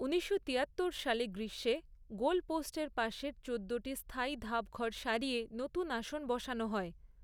ঊনিশশো তিয়াত্তর সালে গ্রীষ্মে গোল পোস্টের পাশের চোদ্দোটি স্থায়ী ধাপঘর সরিয়ে নতুন আসন বসানো হয়।